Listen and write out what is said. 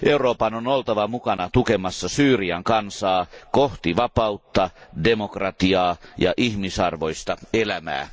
Euroopan on oltava mukana tukemassa Syyrian kansaa kohti vapautta, demokratiaa ja ihmisarvoista elämää.